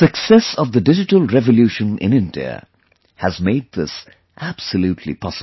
The success of the digital revolution in India has made this absolutely possible